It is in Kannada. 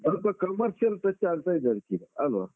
ಆದಿಕೋಸ್ಕರ ಇತ್ತೀಚಿಗೆ ಅಲ್ವಾ?